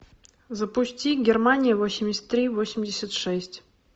запусти германия восемьдесят три восемьдесят шесть